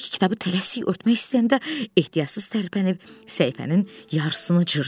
Bekki kitabı tələsik örtmək istəyəndə ehtiyatsız tərpənib səhifənin yarısını cırdı.